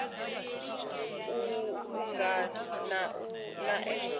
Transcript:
u uuwedza u angana na nf